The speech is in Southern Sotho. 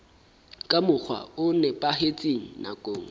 ka mokgwa o nepahetseng nakong